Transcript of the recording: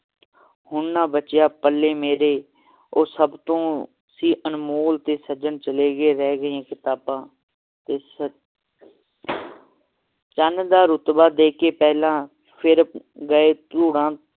ਹੁਣ ਨਾ ਬੱਚਿਆਂ ਪੱਲੇ ਮੇਰੇ ਉਹ ਸਭ ਤੋਂ ਸੀ ਅਨਮੋਲ ਤੇ ਸੱਜਣ ਚਲ ਗਏ ਰਹਿ ਗਈਆਂ ਕਿਤਾਬਾਂ ਇਸ ਚੰਨ ਦਾ ਰੁਤਬਾ ਦੇ ਕੇ ਪਹਿਲਾਂ ਫੇਰ ਗਏ ਧੁੰਨਾ